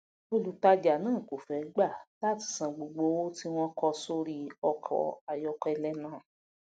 olùtajà náà kò fé gbà láti san gbogbo owó tí wón kọ sórí ọkò ayókélé náà